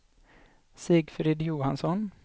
Sigfrid Johansson